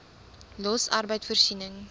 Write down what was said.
los arbeid voorsiening